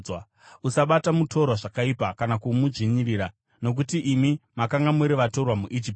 “Usabata mutorwa zvakaipa kana kumudzvinyirira, nokuti imi makanga muri vatorwa muIjipiti.